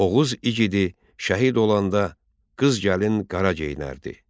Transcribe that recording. Oğuz igidi şəhid olanda qız gəlin qara geyinərdi.